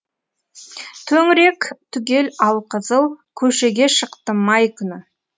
төңірек түгел алқызыл көшеге шықтым май күні